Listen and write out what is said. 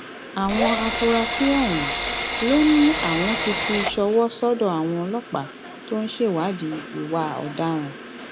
àwọn afurasí ọhún ló ní àwọn ti fi ṣọwọ sọdọ àwọn ọlọpàá tó ń ṣèwádìí ìwà ọdaràn